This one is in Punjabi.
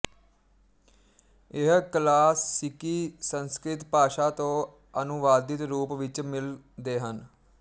ਇਹ ਕਲਾਸਿਕੀ ਸੰਸਕ੍ਰਿਤ ਭਾਸ਼ਾ ਤੋਂ ਅਨੁਵਾਦਿਤ ਰੂਪ ਵਿੱਚ ਮਿਲ ਦੇ ਹਨ